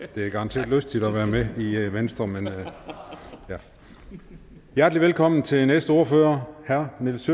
det er garanteret lystigt at være med i venstre men ja hjertelig velkommen til næste ordfører herre nils